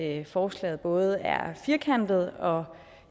at forslaget både er firkantet og